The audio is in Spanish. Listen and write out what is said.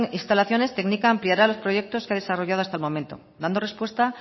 instalaciones tknika ampliará los proyectos que ha desarrollado hasta el momento dando respuesta